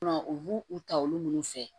U b'u u ta olu minnu fɛ